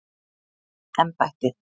embættið